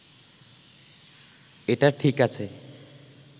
এটা ঠিক আছে